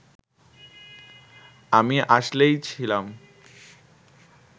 আমি আসলেই ছিলাম